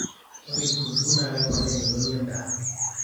ore kitunguu naa keponaa emeloni endaa